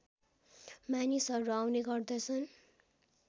मानिसहरू आउने गर्दछन्